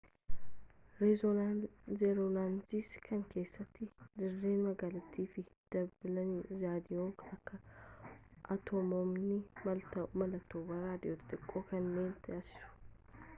rezoonansii kana keessatti dirreen maagneetii fi danbaaliin raadiyoo akka atomoonni mallattoowwan raadiyoo xixiqqoo kennan taasisu